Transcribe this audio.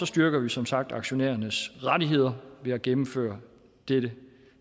styrker vi som sagt aktionærernes rettigheder ved at gennemføre dette